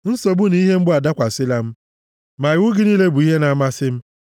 Nsogbu na ihe mgbu adakwasịla m, ma iwu gị niile bụ ihe na-amasị m.